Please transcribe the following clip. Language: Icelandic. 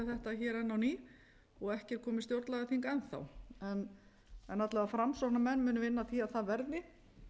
enn á ný og ekki er komið stjórnlagaþing enn en alla vega framsóknarmenn munu vinna að því að það verði